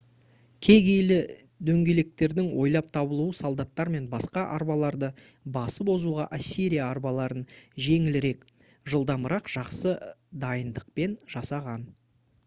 кегейлі дөңгелектердің ойлап табылуы солдаттар мен басқа арбаларды басып озуға ассирия арбаларын жеңілірек жылдамырақ жақсы дайындықпен жасаған